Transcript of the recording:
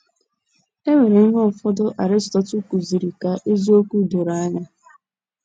E weere ihe ụfọdụ Aristotle kụziri ka eziokwu doro anya